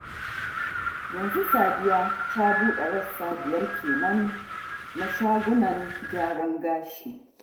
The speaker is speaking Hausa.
Yanzu Sadiya ta buɗe rassa biyar kenan na shagunan gyaran gashi